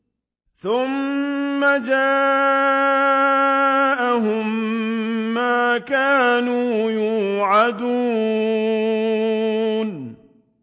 ثُمَّ جَاءَهُم مَّا كَانُوا يُوعَدُونَ